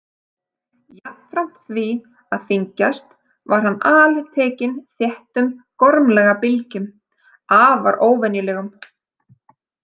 Jafnframt því að þyngjast var hann altekinn þéttum gormlaga bylgjum, afar óvenjulegum.